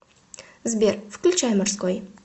сбер включай морской